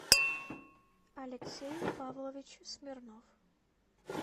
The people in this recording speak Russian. алексей павлович смирнов